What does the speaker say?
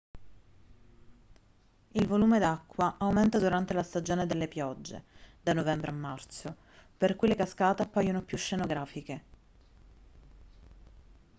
il volume d'acqua aumenta durante la stagione delle piogge da novembre a marzo per cui le cascate appaiono più scenografiche